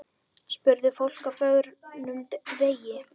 Spurði fólk á förnum vegi.